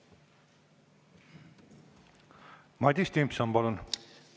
Madis Timpson, palun!